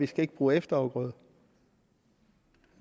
skal bruge efterafgrøder